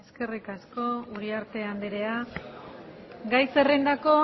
eskerrik asko uriarte andrea gai zerrendako